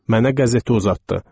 Mənə qəzeti uzatdı.